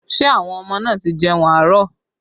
Ṣé àwọn ọmọ náà ti jẹun àárọ̀?